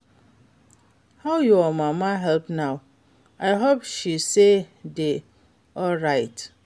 How your mama health now? I hope say she dey alright.